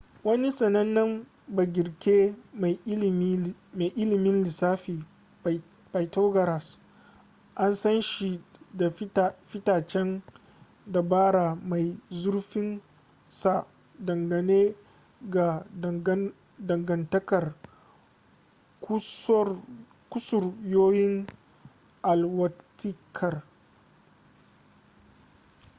wani sanannen bagirke mai ilimin lissafin pythagoras an san shi da fitacen dabara mai zurfin sa dangane ga dangantakar kusuryoyin alwatikar